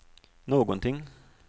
någonting